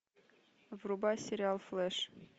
врубай сериал флэш